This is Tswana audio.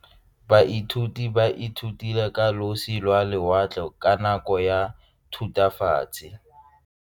Baithuti ba ithutile ka losi lwa lewatle ka nako ya Thutafatshe.